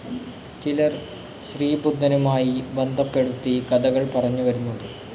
ചിലർ ശ്രീബുദ്ധനുമായി ബന്ധപ്പെടുത്തി കഥകൾ പറഞ്ഞു വരുന്നുണ്ട്.